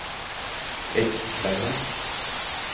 Eggkleiva